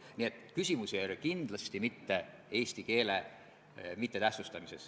Nii et selles suhtes oleks pidanud tõepoolest seda tegema komisjonis.